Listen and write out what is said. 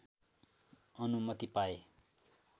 अनुमति पाए